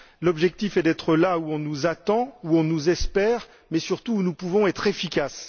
L'objectif est d'être là où on nous attend, où on nous espère, mais surtout où nous pouvons être efficaces.